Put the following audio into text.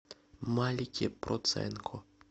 малике проценко